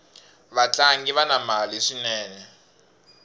vatlangi vana mali swinene